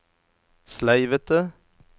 sleivete